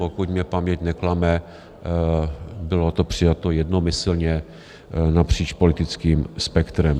Pokud mě paměť neklame, bylo to přijato jednomyslně napříč politickým spektrem.